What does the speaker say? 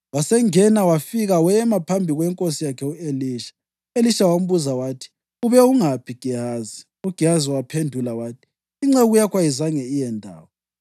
Wasengena wafika wema phambi kwenkosi yakhe u-Elisha. U-Elisha wambuza wathi, “Ube ungaphi Gehazi?” UGehazi waphendula wathi, “Inceku yakho ayizange iye ndawo.”